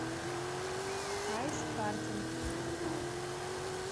айс картинг